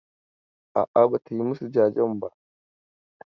A'a, ba ta yi masu jajen ba.